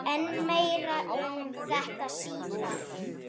En meira um þetta síðar.